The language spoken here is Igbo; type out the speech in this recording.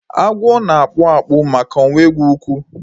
Agwo na-akpụ akpụ maka na ọnweghi ukwu